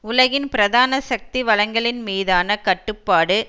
உலகின் பிரதான சக்தி வளங்களின் மீதான கட்டுப்பாடு